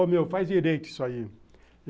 Ô meu, faz direito isso aí.